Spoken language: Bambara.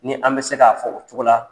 Ni an bɛ se k'a fɔ o cogo la